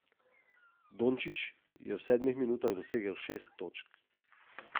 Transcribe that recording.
Dončić je v sedmih minutah dosegel šest točk.